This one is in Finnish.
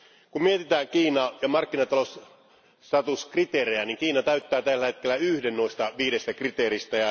Kun mietitään Kiinaa ja markkinatalousstatuskriteerejä, niin Kiina täyttää tällä hetkellä yhden näistä viidestä kriteeristä.